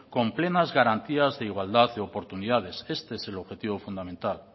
con plenas garantías de igualdad de oportunidades este es el objetivo fundamental